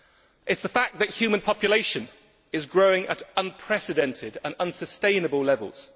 It is the fact that human population is growing at unprecedented and unsustainable levels.